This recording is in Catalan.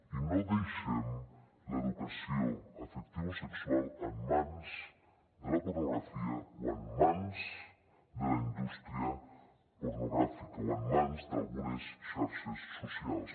i no deixem l’educació afectivosexual en mans de la pornografia o en mans de la indústria pornogràfica o en mans d’algunes xarxes socials